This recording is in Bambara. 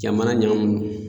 Jamana ɲagamun no